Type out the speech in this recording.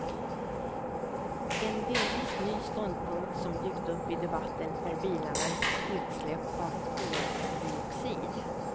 En delvis ny ståndpunkt som dykt upp i debatten är bilarnas utsläpp av koldioxid.